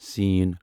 س